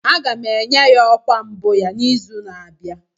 A ga-enye ya ọkwa mbụ ya n'izu na-abịa